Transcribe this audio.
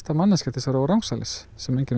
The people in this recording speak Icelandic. til að róa rangsælis sem enginn